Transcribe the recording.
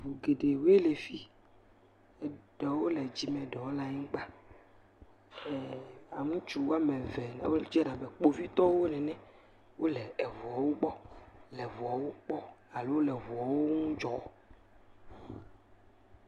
me geɖewoe lɛ fii eɖewo le dzí eɖewo le anyigbã e ŋutsu woameve wó dze abe kpovitɔwo nené wóle eʋuɔwo gbɔ le eʋuɔwo kpɔ ʋuɔwo ŋu dzɔ́